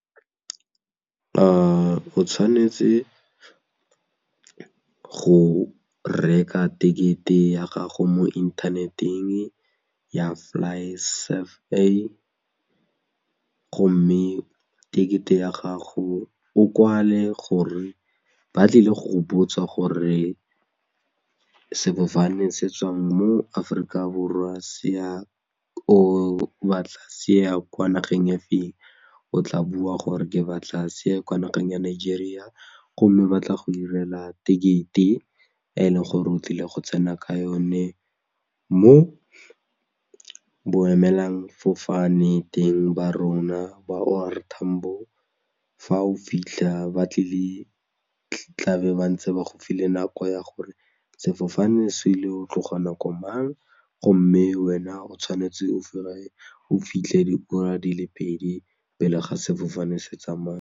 O tshwanetse go reka ticket-e ya gago mo internet-eng ya FlySafair, gomme ticket-e ya gago o kwale gore ba tlile go go botsa gore sefofane se tswang mo Aforika Borwa se ya kwa nageng e feng, o tla bua gore ke batla se ye kwa nageng ya Nigeria gomme ba tla go 'irela ticket-e e leng gore o tlile go tsena ka yone mo boemelangfofane teng ba rona ba O R Tambo fa o fitlha ba tlabe ba ntse ba go file nako ya gore sefofane se ile go tloga nako mang gomme wena o tshwanetse o fitlhe diura di le pedi pele ga sefofane se tsamaya.